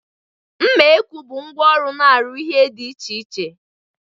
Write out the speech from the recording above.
Mma ekwu bụ ngwa ọrụ na-arụ ihe dị iche iche.